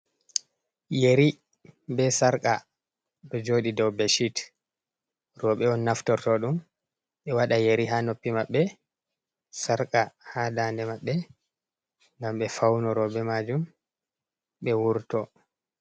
Yeri ɓe sarqa ɗo jodi dau bedsheet. Robe on naftorto ɗum e waɗa yeri ha noppi maɓɓe sarqa ha ɗanɗe, maɓɓe gam ɓe faunoro be majum ɓe wurto.